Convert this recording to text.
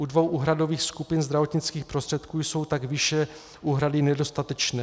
U dvou úhradových skupin zdravotnických prostředků jsou tak výše úhrady nedostatečné.